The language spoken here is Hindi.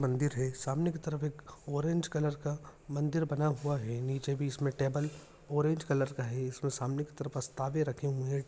मंदिर है सामने की तरफ एक ऑरेंज कलर का मंदिर बना हुआ है नीचे भी इसमे टेबल ऑरेंज कलर का है इसके सामने की तरफ प्रस्तावे रखे हुए है।